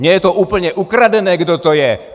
Mně je to úplně ukradené, kdo to je.